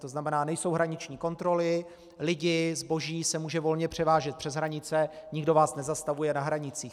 To znamená, nejsou hraniční kontroly, lidi, zboží se může volně převážet přes hranice, nikdo vás nezastavuje na hranicích.